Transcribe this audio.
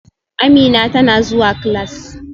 Amina tana zuwa class